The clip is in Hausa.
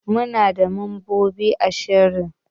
Muna da mambobi ashirin